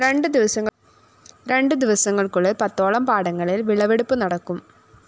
രണ്ടു ദിവസങ്ങള്‍ക്കുള്ളില്‍ പത്തോളം പാടങ്ങളില്‍ വിളവെടുപ്പു നടക്കും